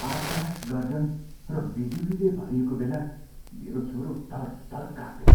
आकाश गर्जन र बिजुलीले भरिएको बेला मेरो छोरो थरथर काँप्यो।